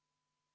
Vaheaeg on läbi.